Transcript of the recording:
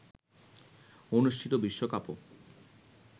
অনুষ্ঠিত বিশ্বকাপও